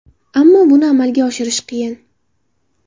Ammo buni amalga oshirish qiyin.